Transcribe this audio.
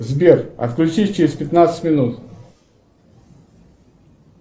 сбер отключись через пятнадцать минут